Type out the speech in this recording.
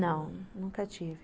Não, nunca tive.